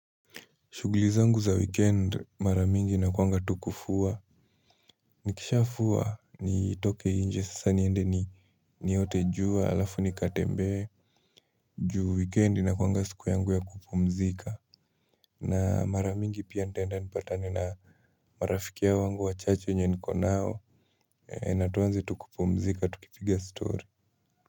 Shughuli zangu za weekend mara mingi nakuanga tu kufua. Nikisha fua nitoke inje sasa niende ni niote jua alafu nikatembee. Juu weekend inakuwanga siku yangu ya kupumzika. Na maramingi pia nitenda nipatane na marafiki ya wangu wa chache wenye niko nao. Na tuwanze tukupumzika tukifiga story.